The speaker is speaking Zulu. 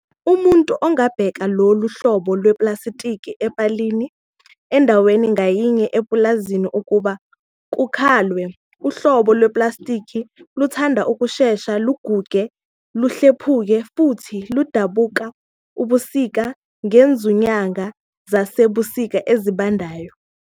Umuntu angabeka lolu hlobo lweplastiki epalini endaweni ngayinye epulazini ukuba kukalwe. Uhlobo lweplastiki luthanda ukushesha luguge luhlephuke futhi ludabuke ebusika ngezunyanga zasebusika ezibandayo.